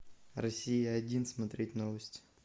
россия один смотреть новости